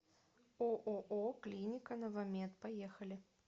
ооо клиника новамед поехали